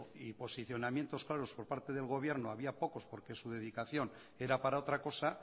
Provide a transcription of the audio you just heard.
y posicionamientos claros por parte del gobierno había pocos porque su dedicación era para otra cosa